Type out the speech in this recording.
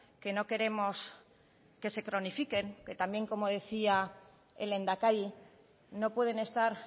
que no queremos que se cronifiquen que también como decía el lehendakari no pueden estar